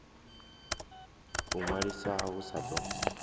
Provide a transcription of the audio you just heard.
u ṅwaliswa hu sa ḓo